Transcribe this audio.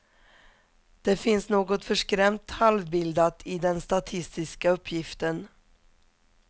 Det finns något förskrämt halvbildat i den statistiska uppgiften.